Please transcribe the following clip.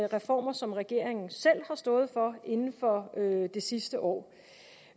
reformer som regeringen selv har stået for inden for det sidste år